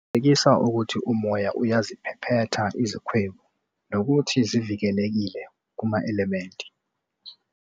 Qinisekisa ukuthi umoya uyaziphephetha izikhwebu nokuthi zivikelekile kuma-elementi.